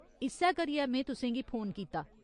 इस्सै करियै में तुसें गी फोन कीता।